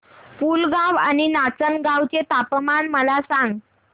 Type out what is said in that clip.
पुलगांव आणि नाचनगांव चे तापमान मला सांग